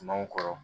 Manw kɔrɔ